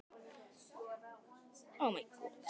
Elín Margrét Böðvarsdóttir: Hvernig kemur það við ykkur?